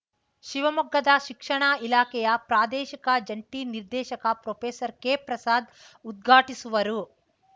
ಶಿವಮೊಗ್ಗದ ಶಿಕ್ಷಣ ಇಲಾಖೆಯ ಪ್ರಾದೇಶಿಕ ಜಂಟಿ ನಿರ್ದೇಶಕ ಪ್ರೊಫೆಸರ್ಕೆಪ್ರಸಾದ್‌ ಉದ್ಘಾಟಿಸುವರು